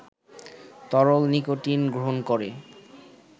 তরল নিকোটিন গ্রহণ করে